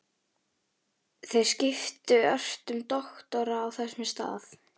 Þeir skiptu ört um doktora á þessum stað.